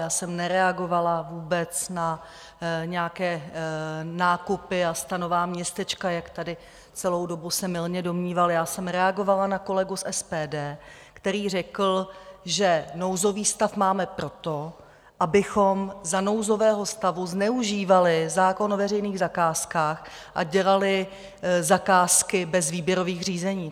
Já jsem nereagovala vůbec na nějaké nákupy a stanová městečka, jak tady celou dobu se mylně domníval, já jsem reagovala na kolegu z SPD, který řekl, že nouzový stav máme proto, abychom za nouzového stavu zneužívali zákon o veřejných zakázkách a dělali zakázky bez výběrových řízení.